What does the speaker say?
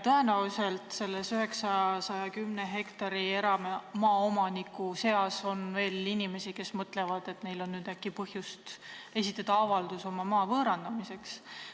Tõenäoliselt on selle 910 hektari eramaa omanike seas veel inimesi, kes mõtlevad, et neil on nüüd äkki põhjust esitada avaldus oma maa võõrandamiseks.